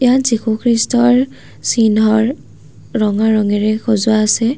ইয়াত যীশু খ্ৰীষ্টৰ চিহ্নৰ ৰঙা ৰঙেৰে সজোৱা আছে।